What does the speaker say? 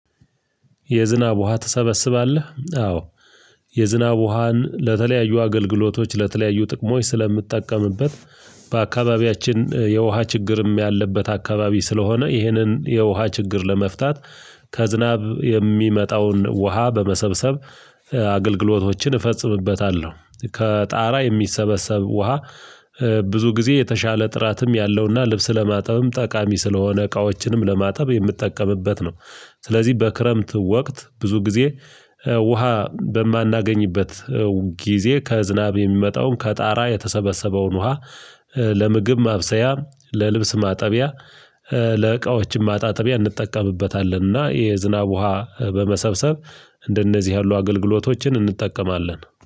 የዝናብ ውሃ ትሰበስባለህ? አዎ። የዝናብ ውሃን ለተለያዩ አገልግሎቶች ለተለያዩ ጥቅሞች ስለምጠቀምበት። በአካባቢያችን የውሃ ችግርም ያለበት አካባቢ ስለሆነ ይህንን የውሃ ችግር ለመፍታት ከዝናብ የሚመጣውን ውሃ በመሰብሰብ አገልግሎቶችን እፈጽምበታለሁ። ከጣራ የሚሰበሰብ ውሃ ብዙ ጊዜ የተሻለ ጥራትም ያለውና ልብስ ለማጠብም ጠቃሚ ስለሆነ እቃዎችንም ለማጠብ የምጠቀምበት ነው። ስለዚህ በክረምት ወቅት ብዙ ጊዜ ውሃ በማናገኝበት ጊዜ ከዝናብ የሚመጣውን ከጣራ የተሰበሰበውን ውሃ ለምግብ ማብሰያ ለልብስ ማጠቢያ። ለዕቃዎችም ማጣጠቢያ እንጠቀምበታለንና የዝናብ ውሃ በመሰብሰብ እንደነዚህ ያሉ አገልግሎቶችን እንጠቀማለን